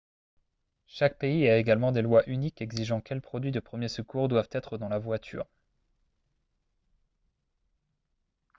chaque pays a également des lois uniques exigeant quels produits de premier secours doivent être dans la voiture